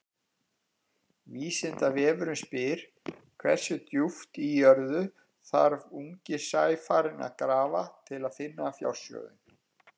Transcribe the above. Vísindavefurinn spyr: Hversu djúpt í jörðu þarf ungi sæfarinn að grafa til að finna fjársjóðinn?